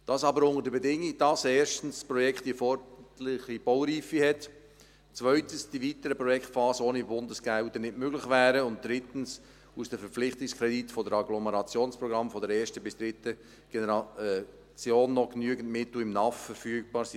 Das aber unter der Bedingung, dass das Projekt erstens die erforderliche Baureife hat, zweitens die weiteren Projektphasen ohne Bundesgelder nicht möglich wären, und drittens aus den Verpflichtungskrediten aus den Agglomerationsprogrammen der ersten bis dritten Generation noch genügend Mittel aus dem NAF verfügbar sind.